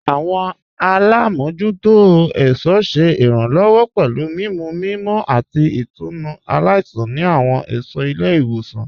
Awọn alámojútò ẹ̀ṣọ ṣé iránlọ́wọ́ pẹ̀lú mimú mímọ̀ àti ìtúnu aláìṣan ni awọn ẹṣọ ilẹ̀-iwosan.